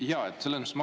Aitäh!